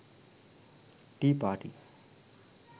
tea party